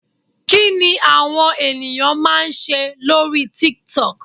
Kí ni àwọn ènìyàn máa ń ṣe lórí TikTok.